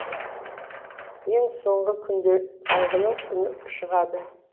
ең соңғы күнде қайғының үні шығады